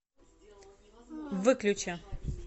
выключи